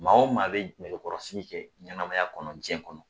Maa o maa bɛ nɛgɛkɔrɔsigi kɛ ɲɛnamaya kɔnɔ diɲɛ kɔnɔ